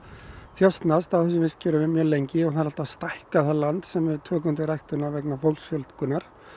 þjösnast á þessum vistkerfum mjög lengi og það er alltaf að stækka það land sem við tökum til ræktunar vegna fólksfjölgunar